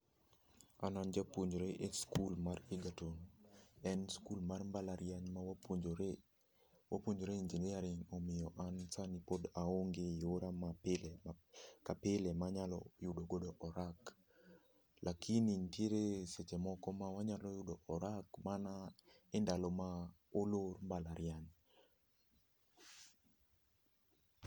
An an japuonjre e skul mar Egerton, en skul mar mbalariany ma wapuonjore, wapuonjore Engineering. Omiyo an sani pod aonge yora mapile ka pile manyalo yudo godo orak. Lakini ntiere seche moko mawanyalo yude orak mana endalo ma olor mbalariany.